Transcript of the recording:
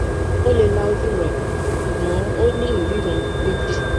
o le la oju rẹ ṣugbọn o ni iriran meji